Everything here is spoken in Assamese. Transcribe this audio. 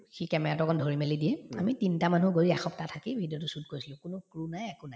সি camera তো অকন ধৰিমেলি দিয়ে আমি তিনটা মানুহ একসপ্তাহ থাকি video তো shoot কৰিছিলো কোনো নাই একো নাই